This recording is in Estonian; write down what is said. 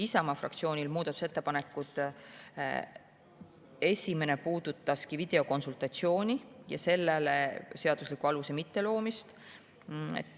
Isamaa fraktsiooni muudatusettepanekutest esimene puudutas videokonsultatsiooni ja sellele seadusliku aluse mitteloomist.